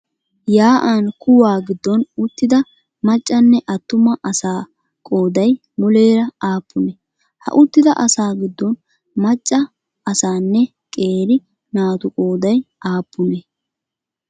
Yaa'an kuwa giddon uttida maccanne attuma asaa qoodayii muleera aappunee? ha uttida asaa giddon macca asaanne qeeri naatu qoodayi aappunee?